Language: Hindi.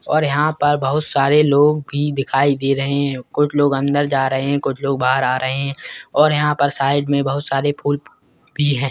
और यहां पर बहुत सारे लोग भी दिखाई दे रहे हैं कुछ लोग अंदर जा रहे हैं कुछ लोग बाहर आ रहे हैं और यहां पर साइड में बहुत सारे फूल भी हैं।